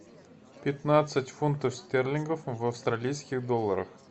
пятнадцать фунтов стерлингов в австралийских долларах